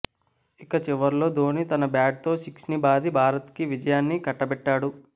ఇక చివర్లో ధోని తన బ్యాట్ తో సిక్స్ ని బాది భారత్ కి విజయాన్ని కట్టబెట్టాడు